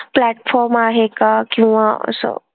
Platform आहे का किंवा असं?